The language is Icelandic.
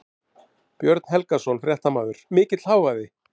Björn Þorláksson, fréttamaður: Mikill hávaði?